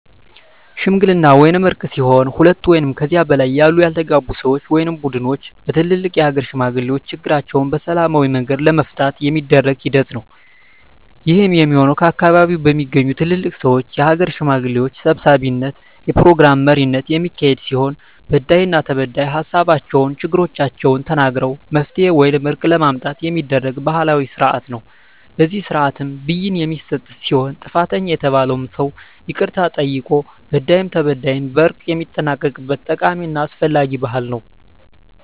ሽምግልና ወይም እርቅ ሲሆን ሁለት ወይም ከዚያ በላይ ያሉ ያልተግባቡ ሰወች ወይም ቡድኖች በትልልቅ የሀገር ሽማግሌዎች ችግራቸዉን በሰላማዊ መንገድ ለመፍታት የሚደረግ ሂደት ነዉ። ይህም የሚሆን ከአካባቢዉ በሚገኙ ትልልቅ ሰወች(የሀገር ሽማግሌዎች) ሰብሳቢነት(የፕሮግራም መሪነት) የሚካሄድ ሲሆን በዳይና ተበዳይ ሀሳባቸዉን(ችግሮቻቸዉን) ተናግረዉ መፍትሄ ወይም እርቅ ለማምጣት የሚደረግ ባህላዊ ስርአት ነዉ። በዚህ ስርአትም ብይን የሚሰጥ ሲሆን ጥፋተኛ የተባለዉም ሰዉ ይቅርታ ጠይቆ በዳይም ተበዳይም በእርቅ የሚጠናቀቅበት ጠቃሚና አስፈላጊ ባህል ነዉ።